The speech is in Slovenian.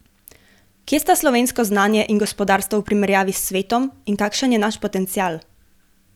Kje sta slovensko znanje in gospodarstvo v primerjavi s svetom in kakšen je naš potencial?